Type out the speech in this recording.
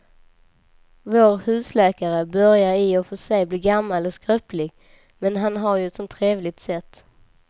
Vår husläkare börjar i och för sig bli gammal och skröplig, men han har ju ett sådant trevligt sätt!